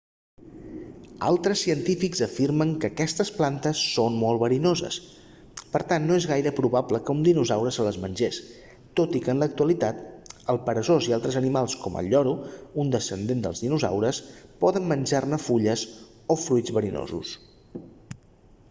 altres científics afirmen que aquestes plantes són molt verinoses per tant no és gaire probable que un dinosaure se les mengés tot i que en l'actualitat el peresós i altres animals com el lloro un descendent dels dinosaures poden menjar fulles o fruits verinosos